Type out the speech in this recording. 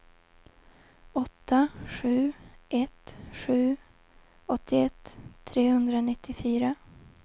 åtta sju ett sju åttioett trehundranittiofyra